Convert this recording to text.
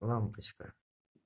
лампочка